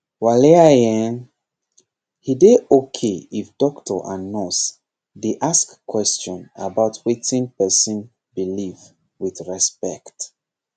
waliaiehn he dey okay if doctor and nurse dey ask question about wetin person believe with respect